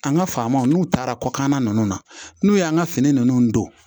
An ka faamaw n'u taara kɔkanna nunnu na n'u y'an ka fini ninnu don